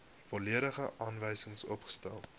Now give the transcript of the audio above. volledige aanwysings opgestel